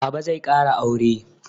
Baba zai ƙara aure.